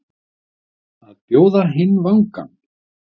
Að bjóða hinn vangann